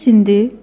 Bəs indi?